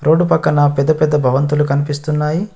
Road పక్కన పెద్ద పెద్ద బవంతులు కనిపిస్తున్నాయి.